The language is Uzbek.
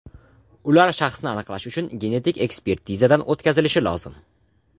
Ular shaxsini aniqlash uchun genetik ekspertizadan o‘tkazilishi lozim.